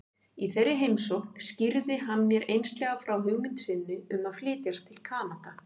Í þeirri heimsókn skýrði hann mér einslega frá hugmynd sinni um að flytjast til Kanada.